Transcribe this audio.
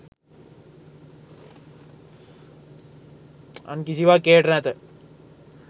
අන් කිසිවක් එයට නැත.